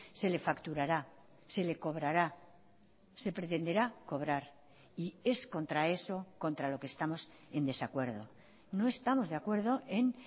se le facturará se le cobrará se pretenderá cobrar y es contra eso contra lo que estamos en desacuerdo no estamos de acuerdo en